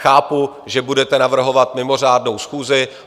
Chápu, že budete navrhovat mimořádnou schůzi.